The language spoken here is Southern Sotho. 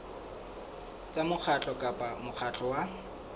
tsa mokgatlo kapa mokgatlo wa